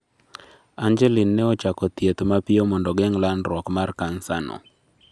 Angeline ne ochako thieth mapio mondo ogeng' landruok mar cancer no